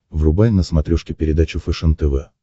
врубай на смотрешке передачу фэшен тв